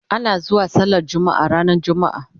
ana zuwa sallar jumma'a ranar jumma'a